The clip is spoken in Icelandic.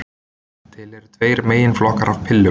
Til eru tveir meginflokkar af pillum.